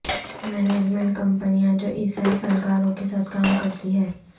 management کمپنیاں جو عیسائی فنکاروں کے ساتھ کام کرتی ہیں